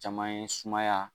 Caman ye sumaya